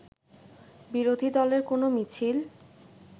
বিরোধী দলের কোনো মিছিল